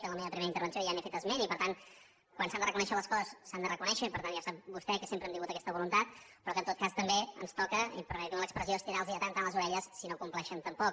en la meva primera intervenció ja n’he fet esment i per tant quan s’han de reconèixer les coses s’han de reconèixer i per tant ja sap vostè que sempre hem tingut aquesta voluntat però que en tot cas també ens toca i permeti’m l’expressió estirar los de tant en tant les orelles si no ho compleixen tampoc